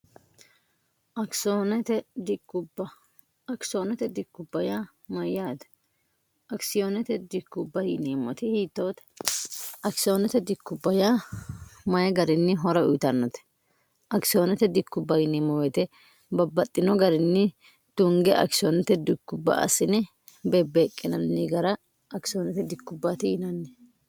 akisoot dubb mayyaate akisiyoodu inmmt hiitoote akisooote diubby mayi garinni hora uyitannote akisioonote dikkubb yieemo wote babbaxxino garinni tunge akisoonote dikubba asine beebbeeqqinanni gara akisoonote dikkubbti inanni